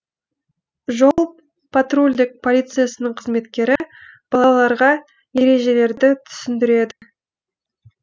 жол патрульдік полициясының қызметкері балаларға ережелерді түсіндіреді